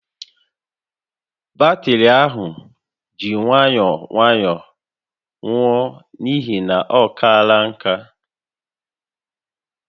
Batrị ahụ ji nwayọọ nwayọọ nwụọ n'ihi na olọ kaala nkà